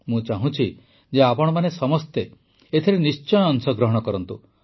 ମୁଁ ଚାହୁଁଛି ଯେ ଆପଣମାନେ ସମସ୍ତେ ଏଥିରେ ନିଶ୍ଚୟ ଅଂଶଗ୍ରହଣ କରନ୍ତୁ